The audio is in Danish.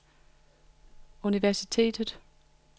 universitetet